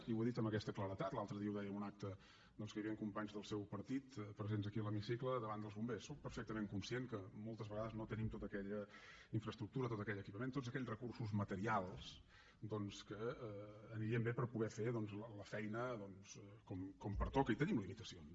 i ho he dit amb aquesta claredat l’altre dia ho deia en un acte en què hi havien companys del seu partit presents aquí a l’hemicicle davant dels bombers sóc perfectament conscient que moltes vegades no tenim tota aquella infraestructura tot aquell equipament tots aquells recursos materials doncs que anirien bé per poder fer la feina com pertoca i tenim limitacions